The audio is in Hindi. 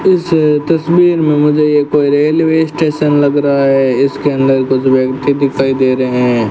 इस तस्वीर में मुझे ये कोई रेलवे स्टेशन लग रहा है इसके अंदर कुछ व्यक्ति दिखाई दे रहे हैं।